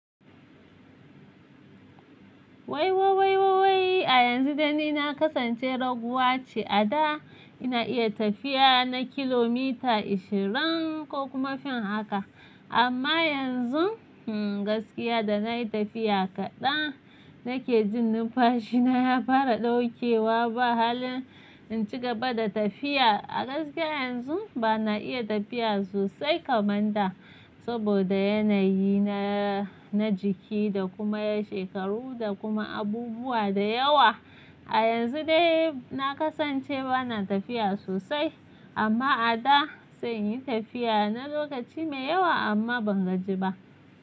Wai wai wai wai a yanzu dai ni na kasance raguwa ce. A da ina iya tafiya na kilomita ashirin ko kuma fin haka, amma yanzu hmmm gaskiya da na yi tafiya kaɗan nake jin numfashi na ya fara ɗaukewa. Ba halin in ci gaba da tafiya. A gaskiya yanzu ba na iya tafiya sosai kamar da saboda yanayi na, na jiki da kuma shekaru da kuma abubuwa da yawa. A yanzu dai na kasance ba na tafiya sosai, amma a da sai in yi tafiya na lokaci mai yawa amma ban gaji ba.